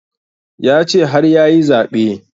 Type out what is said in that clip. Ya ce har yayi zaɓe